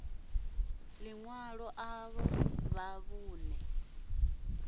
ḽi ṅwalo ḽavho ḽa vhuṋe